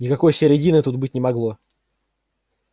никакой середины тут быть не могло